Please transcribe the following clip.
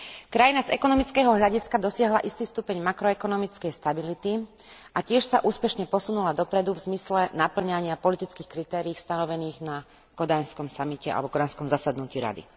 Krajina z ekonomického hľadiska dosiahla istý stupeň makroekonomickej stability a tiež sa úspešne posunula dopredu v zmysle napĺňania politických kritérií stanovených na kodanskom samite alebo kodanskom zasadnutí Rady.